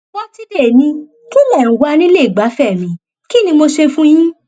pọtidé ni kí lẹ ń wà nílé ìgbafẹ mi kín ni mo ṣe fún yín